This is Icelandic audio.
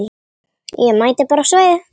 Ég mæti bara á svæðið.